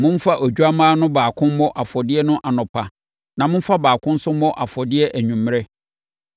Momfa odwammaa no baako mmɔ afɔdeɛ no anɔpa na momfa baako nso mmɔ afɔdeɛ anwummerɛ.